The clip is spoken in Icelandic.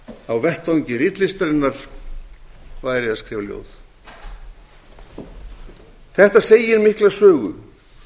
hefði gert á vettvangi ritlistarinnar væri að skrifa ljóð þetta segir mikla sögu